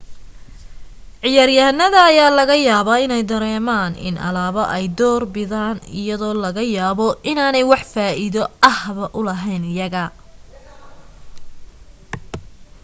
ciyaar yahanada ayaa laga yaabaa inay dareemaan in alaabo ay door bidaan iyadoo laga yaabo inaanay wax faa'iido ahba u lahayn iyaga